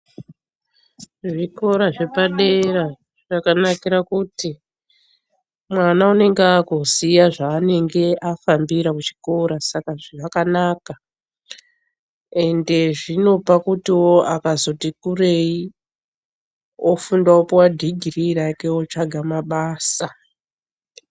Zvikora zvepadera zvakanakira kuti mwana anenge akuziya zvaanenge afambira kuchikora. Saka zvakanaka ende zvinopa kutiwo akazoti kurei ofunda opiwa dhigirii rake otsvaga mabasa.